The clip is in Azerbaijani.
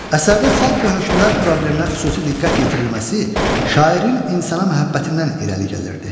Əsərdə xalq və hökmdar probleminə xüsusi diqqət yetirilməsi şairin insana məhəbbətindən irəli gəlirdi.